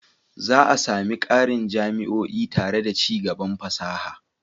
Za a sami ƙarin jami'o'i tare da ci gaban fasaha.